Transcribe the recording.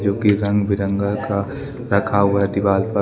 जो कि रंग बिरंगा का रखा हुआ है दीवाल पर।